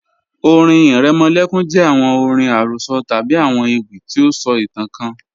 ọ̀rìn iremolekun jẹ awọn ọ̀rìn arosọ tabi awọn ewi ti o sọ itan kan